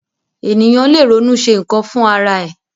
Ènìyàn lè ronú ṣe nkan fún ará ẹ.